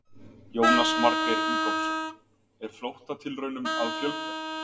Jónas Margeir Ingólfsson: Er flóttatilraunum að fjölga?